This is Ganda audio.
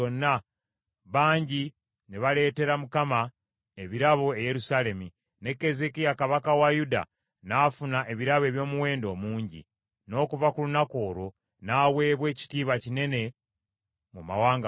Bangi ne baleetera Mukama ebirabo e Yerusaalemi, ne Keezeekiya kabaka wa Yuda n’afuna ebirabo eby’omuwendo omungi. N’okuva ku lunaku olwo n’aweebwa ekitiibwa kinene mu mawanga gonna.